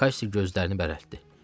Qassi gözlərini bərələtdi.